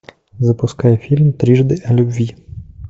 запускай фильм трижды о любви